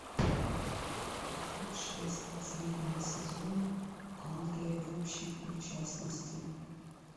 эпизод шесть последнего сезона англия в общем и в частности